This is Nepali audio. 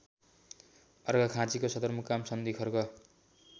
अर्घाखाँचीको सदरमुकाम सन्धिखर्क